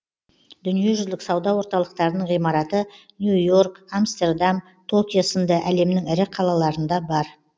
дүниежүзілік сауда орталықтарының ғимараты нью йорк амстердам токио сынды әлемнің ірі қалаларында бар